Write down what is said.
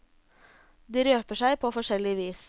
De røper seg på forskjellig vis.